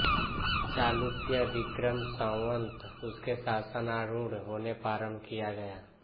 चालुक्यविक्रम संवत् उसके शासनारूढ़ होने पर आरम्भ किया गया